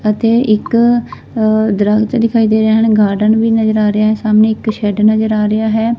ਅਤੇ ਇੱਕ ਅ ਦਰੱਖਤ ਦਿਖਾਈ ਦੇ ਰਿਹਾ ਹੈ ਐਂਡ ਗਾਰਡਨ ਵੀ ਨਜ਼ਰ ਆ ਰਿਹਾ ਸਾਹਮਣੇ ਇੱਕ ਸ਼ੇਡ ਨਜ਼ਰ ਆ ਰਿਹਾ ਹੈ।